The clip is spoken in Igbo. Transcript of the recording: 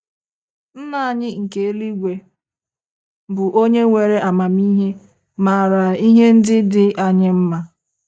NNA anyị nke eluigwe, bụ́ onye nwere amamihe, maara ihe ndị dị anyị mma.